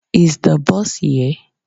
Is the bus here?